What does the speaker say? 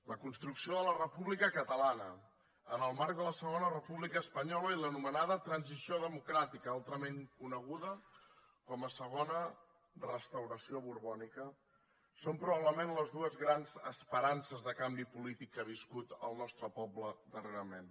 la construcció de la república catalana en el marc de la segona república espanyola i l’anomenada transi ció democràtica altrament coneguda com a segona restauració borbònica són probablement les dues grans esperances de canvi polític que ha viscut el nostre poble darrerament